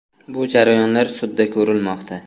Bu jarayonlar sudda ko‘rilmoqda.